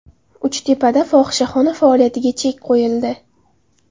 Uchtepada fohishaxona faoliyatiga chek qo‘yildi.